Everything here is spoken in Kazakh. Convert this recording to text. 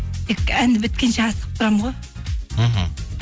тек әнді біткенше асығып тұрамын ғой мхм